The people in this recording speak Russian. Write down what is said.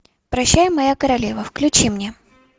прощай моя королева включи мне